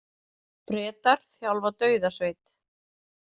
Bretar þjálfa dauðasveit